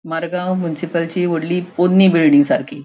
मारगाव मुन्सिपालची वोडली पोन्नी बिल्डिंग सारकी --